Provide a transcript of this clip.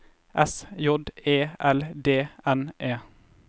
S J E L D N E